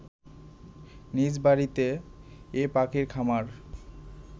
নিজ বাড়িতে এ পাখির খামার